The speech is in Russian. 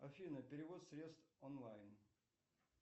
афина перевод средств онлайн